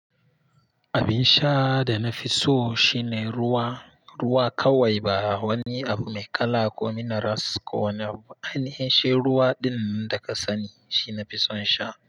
Abin sha da na fi so shine ruwa. Ruwa kawai ba wani abu mai kala ko minaras ko wani hanci. Shi ruwa din da ka sani shine na fi son sha.